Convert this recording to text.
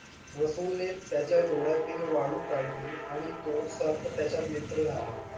रसूल ने त्याच्या डोळ्यातील वाळू काढली आणि तो सर्प त्याचा मित्र झाला.